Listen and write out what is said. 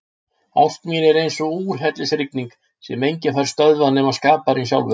Ást mín er eins og úrhellisrigning sem enginn fær stöðvað nema skaparinn sjálfur.